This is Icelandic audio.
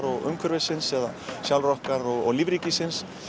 og umhverfisins eða sjálfra okkar og lífríkisins